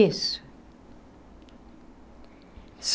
Isso.